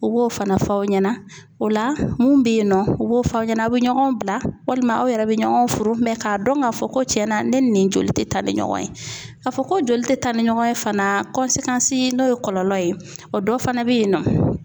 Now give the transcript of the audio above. U b'o fana fɔ aw ɲɛna o la mun bɛ yen nɔ u b'o fɔ aw ɲɛna aw bɛ ɲɔgɔn bila walima aw yɛrɛ bɛ ɲɔgɔn furu k'a dɔn k'a fɔ ko tiɲɛna ne ni nin joli tɛ taa ni ɲɔgɔn ye, k'a fɔ ko joli tɛ taa ni ɲɔgɔn ye fana n'o ye kɔlɔlɔ ye, o dɔ fana bɛ yen nɔ